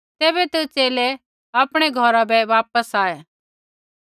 तैबै तै च़ेले आपणै घौरा बै वापस आऐ